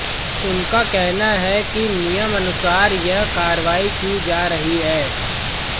उनका कहना है कि नियमानुसार यह कार्रवाई की जा रही है